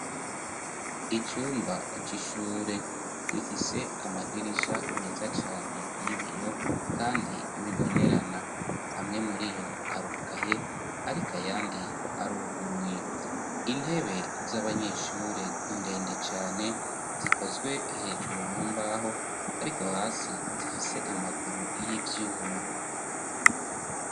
Icumba c'ishure gifise amadirisha meza cane y'ibiyo, kandi bibonerana. Amwe muri yo arugaye ariko ayandi aruguruye. Intebe z'abanyeshure ndende cane zikozwe hejuru mu mbaho ariko hasi zifise amaguru y'ivyuma.